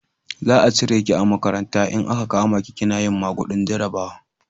Za a cire ki a makaranta in a ka kama ki kina yin magudin jarabawa